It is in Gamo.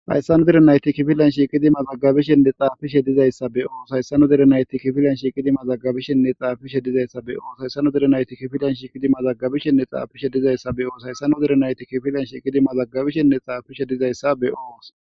Hayssano derenayti kifilanshi qidi mazaggabishenne xaafishe dizayssa be oos hayssano derenayti kifilanshi qidi mazaggabishenne xaafishe dizayssa be oos hayssano derenayti kifilanshi qidi mazaggabishenne xaafishe dizayssa be oos hayssano derenayti kifilanshi qidi mazaggabishenne xaafishe dizayssa be oos.